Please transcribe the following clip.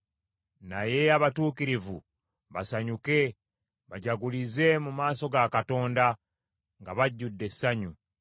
Naye abatuukirivu basanyuke bajagulize mu maaso ga Katonda, nga bajjudde essanyu.